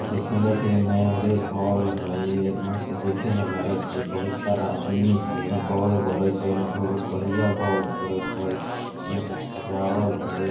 देखे में लागे छै एगो मैरेज हॉल हय एतना अच्छा देखे में लागएत हय बहुत सारा आदमी हय एमे बोल बरएत हय एने भुक-भूकेइया बोल बरएत हय एने अच्छा से सजावल हय।